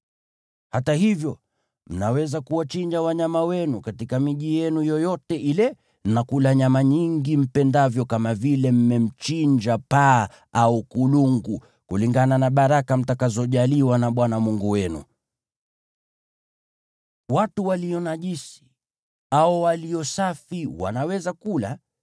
Hata hivyo, mnaweza kuwachinja wanyama wenu katika miji yenu yoyote ile na kula nyama nyingi mpendavyo kama vile mmemchinja paa au kulungu, kulingana na baraka mtakazojaliwa na Bwana Mungu wenu. Watu walio najisi au walio safi wanaweza kula.